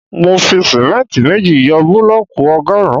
Mo fi símẹ́ntì méjì yọ búlọ̀kù ọgọrun